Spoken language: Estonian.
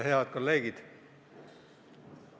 Head kolleegid!